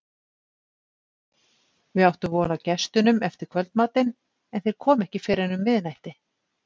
Við áttum von á gestunum eftir kvöldmatinn, en þeir komu ekki fyrr en um miðnætti.